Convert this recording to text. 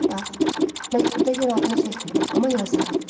Bax, məktubda yenə adını çəkmirəm, amma yazıram.